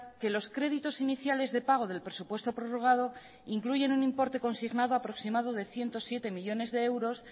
que los créditos iníciales de pago del presupuesto prorrogado incluyen un importe consignado aproximado de ciento siete millónes de euros